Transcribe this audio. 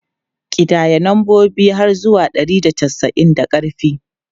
Ƙidaya lambobi har zuwa ɗari da casa'in da ƙarfi!